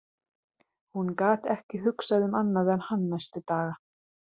Hún gat ekki hugsað um annað en hann næstu daga.